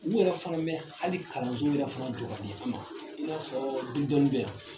U yɛrɛ fana bɛ hali kalanso yɛrɛ fana jɔ ka di an ma i n'a fɔ